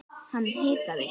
Hann hikaði.